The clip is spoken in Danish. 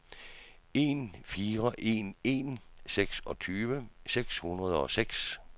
en fire en en seksogtyve seks hundrede og seks